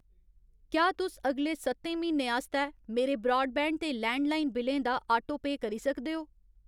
क्या तुस अगले स'त्तें म्हीनें आस्तै मेरे ब्राडबैंड ते लैंडलाइन बिलें दा आटोपेऽ करी सकदे ओ ?